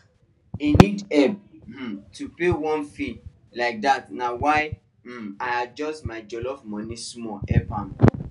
he need help um to pay one fee like that na why um i adjust my jollof money small help am